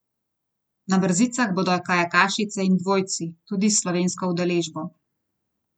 Na brzicah bodo kajakašice in dvojci, tudi s slovensko udeležbo.